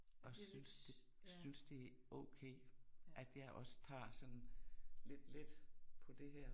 Og synes det synes det er okay at jeg også tager sådan lidt let på det her